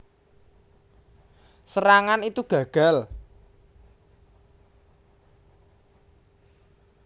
Serangan itu gagal